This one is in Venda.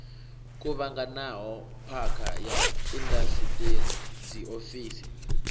kuvhanganaho phakha ya indasiṱiri dziofisi